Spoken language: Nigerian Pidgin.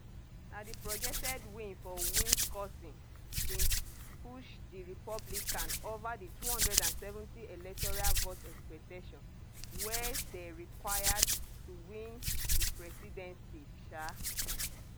na di projected win for wisconsin bin push di republican ova di 270 electoral vote expectation wey dey required to win di presidency um